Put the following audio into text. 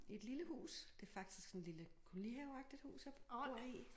I et lille hus det faktisk sådan lille kolonihaveagtigt hus jeg bor i